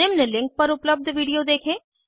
निम्न लिंक पर उपलब्ध विडिओ देखें